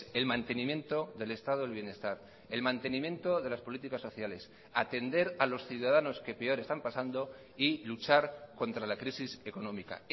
el mantenimiento del estado del bienestar el mantenimiento de las políticas sociales atender a los ciudadanos que peor están pasando y luchar contra la crisis económica